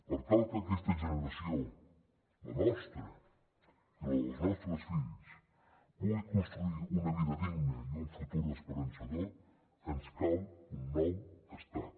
per tal que aquestes generacions la nostra i la dels nostres fills puguin construir una vida digna i un futur esperançador ens cal un nou estat